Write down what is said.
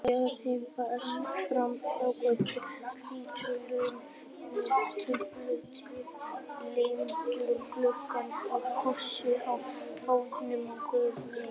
Kirkja við fáfarna götu, hvítmáluð með alltof litlum gluggum og krossi á báðum göflum.